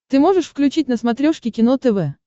ты можешь включить на смотрешке кино тв